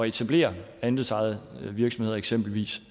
etablere andelsejede virksomheder eksempelvis